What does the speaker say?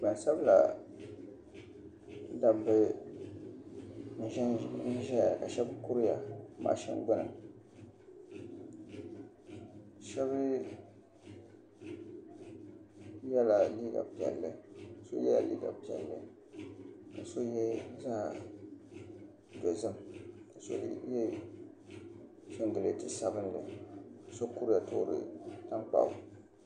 Gbansabila dabba n ʒɛya ka shab kuriya mashin gbuni so yɛla liiga piɛlli ka so yɛ zaɣ dozim ka so yɛ singirɛti sabinli ka so kuriya toori tankpaɣu